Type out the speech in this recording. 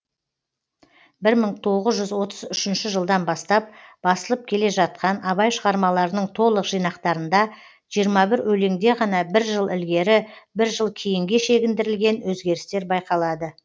бір мың тоғыз жүз отыз үшінші жылдан бастап басылып келе жатқан абай шығармаларының толық жинақтарында жиырма бір өлеңде ғана бір жыл ілгері бір жыл кейінге шегіндірілген өзгерістер байқалады